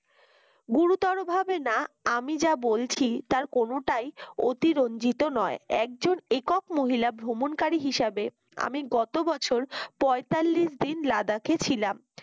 গুরুতরভাবে না আমি যা বলছি তার কোনটাই অতিরঞ্জিত নয় একজন একক মহিলা ভ্রমণকারী হিসাবে আমি গত বছর পয়তাল্লিশ দিন লাদাখে ছিলাম।